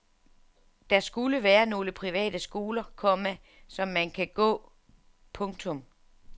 Der skulle være nogle private skoler, komma som man kan gå. punktum